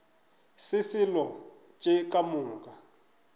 se selo tše ka moka